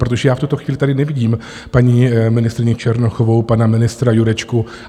Protože já v tuto chvíli tady nevidím paní ministryni Černochovou, pana ministra Jurečku.